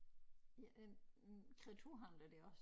Ja den kreaturhandler der også